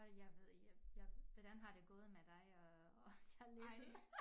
Og jeg ved ikke jeg jeg hvordan har det gået med dig og og at læse